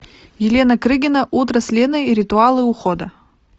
елена крыгина утро с леной ритуалы ухода